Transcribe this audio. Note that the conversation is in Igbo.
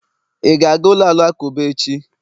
ị ga-aga ụlọ alakụba echi?